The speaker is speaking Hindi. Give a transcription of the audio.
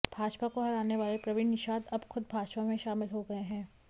भाजपा को हराने वाले प्रवीण निषाद अब ख़ुद भाजपा में शामिल हो गए हैं